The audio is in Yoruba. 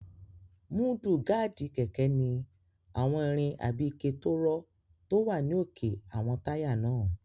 Múdúgáàdì kẹ̀kẹ́ ní àwọn irin àbí ike tó rọ́ tó wà ní òkè àwọn táyà náà